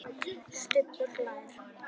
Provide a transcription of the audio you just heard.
Stubbur hlær.